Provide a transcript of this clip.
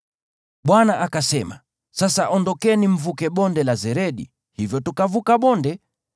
Bwana akasema, “Sasa ondokeni mvuke Bonde la Zeredi.” Hivyo tukavuka bonde.